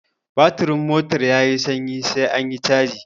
Batirin motar yayi sanyi sai anyi caji